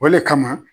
O le kama